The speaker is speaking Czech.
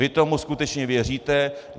Vy tomu skutečně věříte?